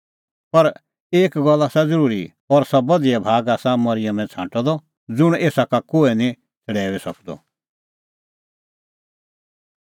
पर एक गल्ल आसा ज़रूरी और सह बधिया भाग आसा मरिअमै छ़ांटअ द ज़ुंण एसा का कोहै निं छ़ड़ैऊई सकदअ